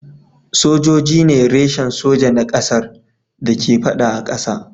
Sojoji ne reshen soja na kasar da ke fada a kasa.